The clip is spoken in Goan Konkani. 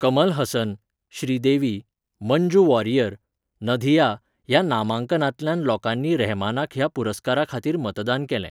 कमल हसन, श्रीदेवी, मंजू वॉरियर, नधिया ह्या नामांकनांतल्यान लोकांनी रहमानाक ह्या पुरस्कारा खातीर मतदान केलें.